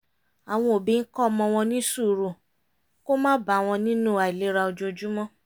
àwọn òbí ń kó ọmọ wọn ní sùúrù kó má bà wọn nínú àìlera ojoojúmọ́